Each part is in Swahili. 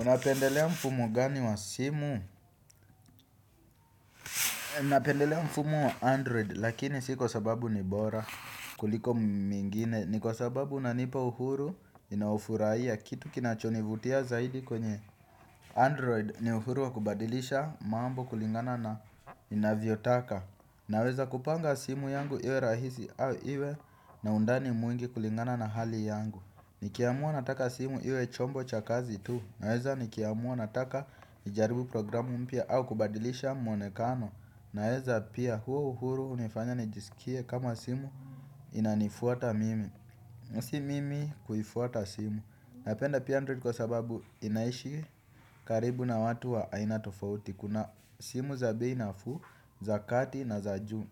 Unapendelea mfumo gani wa simu? Napendelea mfumo wa android lakini si kwa sababu ni bora kuliko mengine. Ni kwa sababu unanipa uhuru ninaofuraia kitu kinachonivutia zaidi kwenye android. Ni uhuru wa kubadilisha mambo kulingana na ninavyotaka. Naweza kupanga simu yangu iwe rahisi au iwe na undani mwingi kulingana na hali yangu. Nikiamua nataka simu iwe chombo cha kazi tu. Naweza nikiamua nataka nijaribu programu mpya au kubadilisha mwonekano. Naweza pia huo uhuru unifanya nijisikie kama simu inanifuata mimi na si mimi kuifuata simu. Napenda pia android kwa sababu inaishi karibu na watu wa aina tofauti. Kuna simu za bei nafuu za kati na za juu.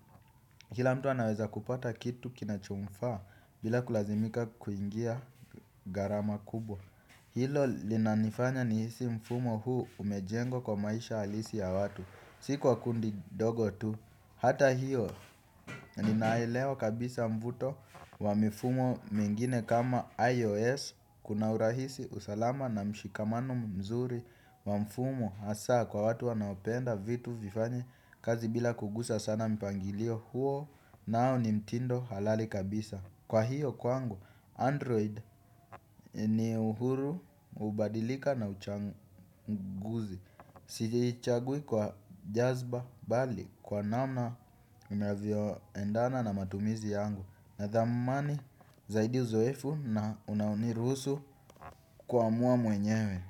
Kila mtu anaweza kupata kitu kinachomfaa bila kulazimika kuingia garama kubwa. Hilo linanifanya nihisi mfumo huu umejengwa kwa maisha halisi ya watu. Si kwa kundi dogo tu. Hata hiyo ninaelewa kabisa mvuto wa mifumo mengine kama IOS. Kuna urahisi usalama na mshikamano mzuri wa mfumo. Asa kwa watu wanaopenda vitu vifanye kazi bila kugusa sana mpangilio huo nao ni mtindo halali kabisa. Kwa hiyo kwangu, Android ni uhuru, ubadilika na uchanguzi. Sichagui kwa jazba bali kwa namna unavyo endana na matumizi yangu. Nathamani zaidi uzoefu na unaoniruhusu kuamua mwenyewe.